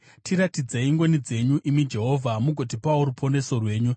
Tiratidzei ngoni dzenyu, imi Jehovha, mugotipawo ruponeso rwenyu.